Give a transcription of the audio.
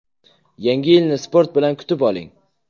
Yangi yilni sport bilan kutib oling!.